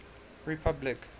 republic